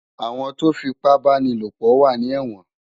Awòn tó fipàbánilópò wà ni èwòn